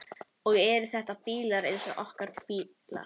Og eru þetta bílar eins og okkar bílar?